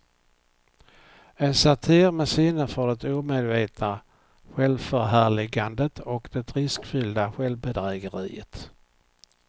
En satir med sinne för det omedvetna självförhärligandet och det riskfyllda självbedrägeriet.